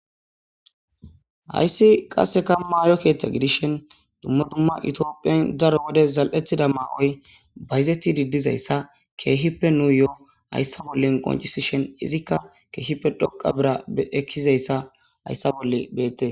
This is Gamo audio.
Hayssi qasse kammayo keeththa gidishen dumma dumma itiophiyan daro wode zal'ethida maa'oy bayzeti didizayssa keehippe nuu yo'o hayssa bollen qoncisi shen izikka keehippe dhoqa bira ekkizayssa hayssa bolle beette